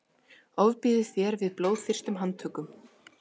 ofbýður þér við blóðþyrstum handtökum